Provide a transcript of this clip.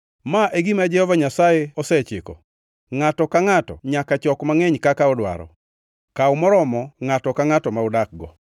Ma e gima Jehova Nyasaye osechiko, ‘Ngʼato ka ngʼato nyaka chok mangʼeny kaka odwaro. Kaw moromo ngʼato ka ngʼato ma udakgo.’ ”